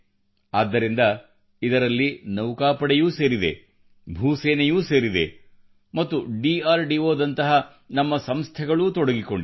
ಆದ್ದರಿಂದ ಇದರಲ್ಲಿ ನೌಕಾಪಡೆಯೂ ಸೇರಿದೆ ಭೂ ಸೇನೆಯೂ ಸೇರಿದೆ ಮತ್ತು ಡಿಆರ್ಡಿಒ ಡಿಆರಡಿಒ ದಂತಹ ನಮ್ಮ ಸಂಸ್ಥೆಗಳೂ ತೊಡಗಿಕೊಂಡಿವೆ